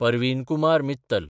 Parveen Kumar Mittal